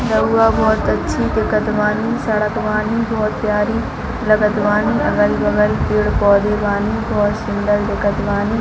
रउआ बहोत अच्छी दिखत बानी सड़क बानी बहोत प्यारी लगत बानी अगल-बगल पेड़-पौधे बानी बहोत सुन्दर दिखत बानी--